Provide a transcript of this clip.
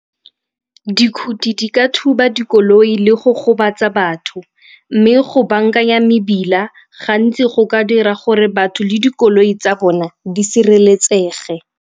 Dikgoti di ka thuba dikoloi le go gobatsa batho mme go bankanya mebila gantsi go ka dira gore batho le dikoloi tsa bona di sireletsege.